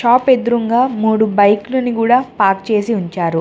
Shop ఎదురుంగా మూడు బైక్లుని గూడా పార్క్ చేసి ఉంచారు.